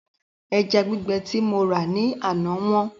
Ẹja gbígbẹ tí mo rà ní àná wọ́n